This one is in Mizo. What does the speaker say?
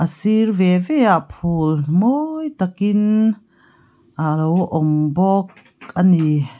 sir ve ve ah phul mawi takin alo awm bawk a ni.